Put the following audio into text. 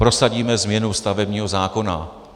Prosadíme změnu stavebního zákona.